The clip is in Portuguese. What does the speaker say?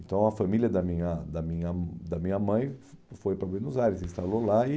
Então a família da minha da minha hum da minha mãe fo foi para Buenos Aires, instalou lá e...